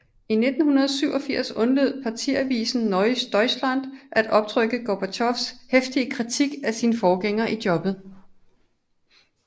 I 1987 undlod partiavisen Neues Deutschland at optrykke Gorbatjovs heftige kritik af sin forgænger i jobbet